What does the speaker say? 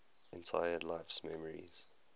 entire life's memories